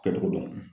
Kɛcogo dɔn